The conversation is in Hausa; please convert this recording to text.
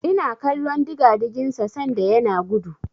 Ina kallon digadigin sa sanda yana gudu.